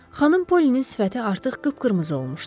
Xanım Pollynin sifəti artıq qıpqırmızı olmuşdu.